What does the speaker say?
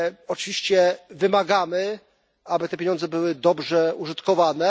Oczywiście wymagamy, aby te pieniądze były dobrze użytkowane.